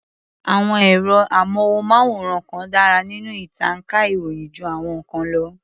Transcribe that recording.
Àwọn ẹ̀rọ-amóhùnmáwòrán kan dárá nínú ìtànká ìròyìn jú àwọn ìkan lọ.